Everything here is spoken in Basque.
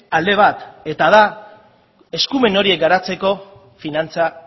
alde bat eta da eskumen horiek garatzeko finantza